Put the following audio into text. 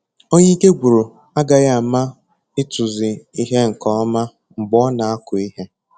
Onye ike gwụrụ agaghị ama ịtụzi ihe nke ọma mgbe ọ na-akụ ihe